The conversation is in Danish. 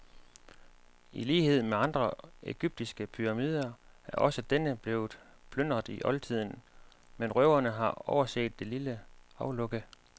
I lighed med andre egyptiske pyramider er også denne blevet plyndret i oldtiden, men røverne har overset det lille aflukke.